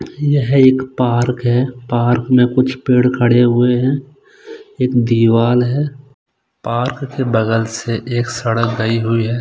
यह एक पार्क है पार्क में कुछ पेड़ खड़े हुए हैं एक दिवार है पार्क के बगल से एक सड़क गई हुई है।